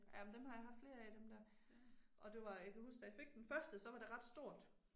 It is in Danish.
Jamen dem har jeg haft flere af dem der. Og det var, jeg kan huske da jeg fik den første, så var det ret stort